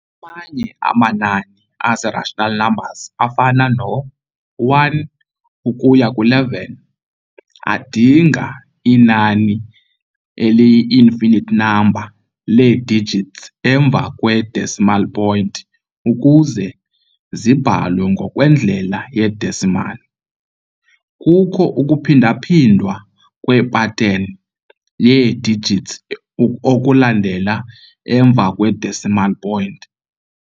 Amanye amanani a-rational azi-rational numbers, afana no-1 ukuya ku11, adinga inani eli-finate, i-infinite number, lee-digits emva kwe-decimal point ukuze zibhalwe ngokwendlela ye-decimal. Kukho ukuphindaphindwa kwe-pattern yee-digits okulandela emva kwe-decimal point.